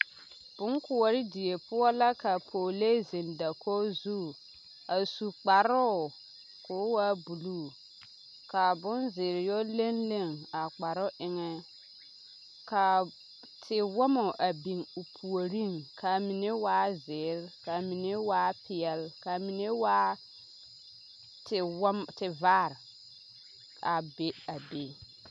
Boŋkoɔre die poɔ la ka pɔgelee ziŋ dakoge zu a su kparoo ko waa buluu kaa boŋzeere yɛ lenlen a kparoo eŋɛ kaa tewɔmɔ a biŋ o puoriŋ kaa mine waa zēēre kaa mine waa peɛl kaa mine waa tewɔmɔ tevaare a be a be.